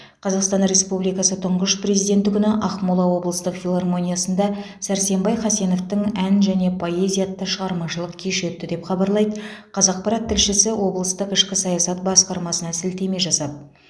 қазақстан республикасының тұңғыш президенті күні ақмола облыстық филармониясында сәрсенбай хасеновтың ән және поэзия атты шығармашылық кеші өтті деп хабарлайды қазақпарат тілшісі облыстық ішкі саясат басқармасына сілтеме жасап